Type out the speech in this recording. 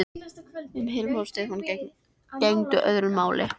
Um Hilmar og Stefán gegndi öðru máli.